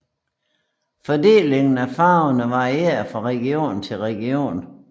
Fordelingen af farverne varierer fra region til region